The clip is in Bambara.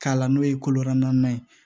K'a la n'o ye kolo naani ye